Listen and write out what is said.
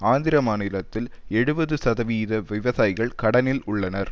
ஆந்திர மாநிலத்தில் எழுபது சதவீத விவசாயிகள் கடனில் உள்ளனர்